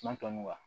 San tɔmɔ